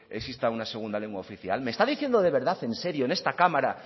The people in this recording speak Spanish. exista una segunda lengua oficial me está diciendo de verdad en serio en esta cámara